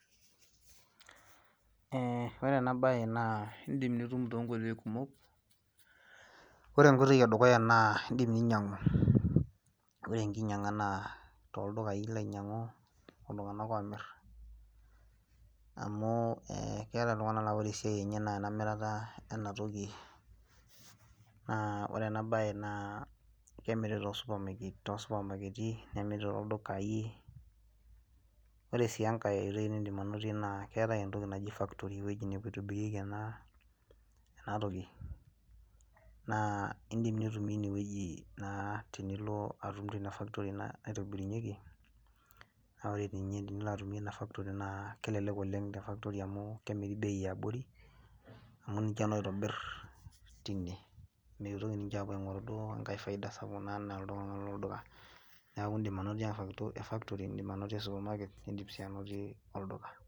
Eeh ore ena baye naa indiim nitum toonkoitoi kumok ore enedukuya naa indiim ninyiang'u ore enkinaa toldukai ilo ainyiang'u tooltung'ak oomir neeku keetai iltung'anak laa ore esiai enye naa ena mirara ena toki naa ore ena baye naa kemiri too supamaketi nemiri tooldukai ore sii enkae oitoi nindiim anotie naa keetai entoki naji keetai ewueji naji factory ewueji naaninye eitobirieki ena toki naa indiim nitumie ine wueji naa tenilo atum teina factory naa nilo naitobirieki naa naa ore ewueji nilo atumie ina factory naa kelelek oleng naa kemiri bei yaabori amu ninche naa oitobir tine meitoki ninche apuo airobir esapuk enaa iltung'anak lolduka neeku indiim anotie factory nindim anotie supamaket nindiim sii anotie ollduka.